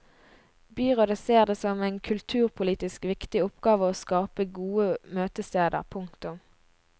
Byrådet ser det som en kulturpolitisk viktig oppgave å skape gode møtesteder. punktum